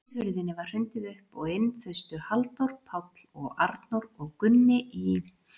Útihurðinni var hrundið upp og inn þustu Halldór, Páll og Arnór og Gunni í